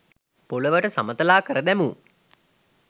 පොළොවට සමතලාකර දැමූ